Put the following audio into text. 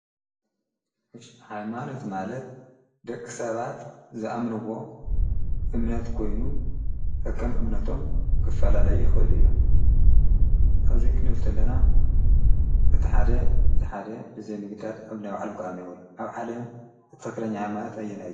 እሽቢ ኃይማኖት ማለት ደቂ ሰባት ዝኣምንዎ እምነት ኮይኑ ከከም እምነቶም ክፈላለይ ይኸይሉ እዮም እዙይ ክንብልተለና እቲ ሓደ እቲ ሓደ ብዘይምግዳድ ኣብ ነቢ ዓለም ክኣምነይበሉ ኣብ ዓለም እትኸኽለኛ ኣይማልት ኣየናይ እዩ።